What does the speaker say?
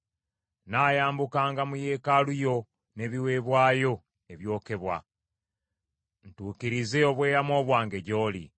Nnaayambukanga mu yeekaalu yo n’ebiweebwayo ebyokebwa, ntuukirize obweyamo bwange gy’oli,